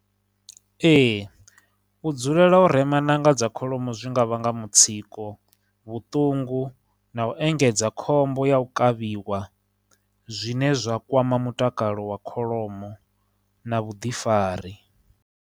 Ee, u dzulela u rema ṋanga dza kholomo zwi nga vhanga mutsiko, vhuṱungu, na u engedza khombo ya u kavhiwa zwine zwa kwama mutakalo wa kholomo na vhuḓifari.